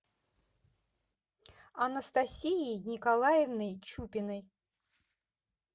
анастасией николаевной чупиной